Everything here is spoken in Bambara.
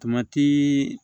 Tomati